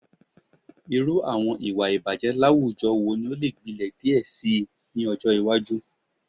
Irú àwọn iwa ìbàjẹ́ láwùjọ wo ni o le gbilẹ̀ díẹ̀ síí ni ọjọ́ iwájú